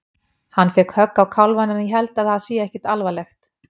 Hann fékk högg á kálfann en ég held að það sé ekkert alvarlegt.